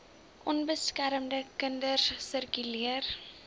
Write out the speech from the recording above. onbeskermde kinders sirkuleer